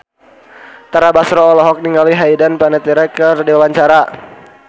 Tara Basro olohok ningali Hayden Panettiere keur diwawancara